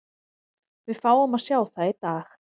Við fáum að sjá það í dag.